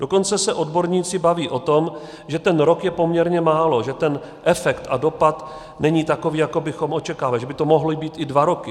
Dokonce se odborníci baví o tom, že ten rok je poměrně málo, že ten efekt a dopad není takový, jaký bychom očekávali, že by to mohly být i dva roky.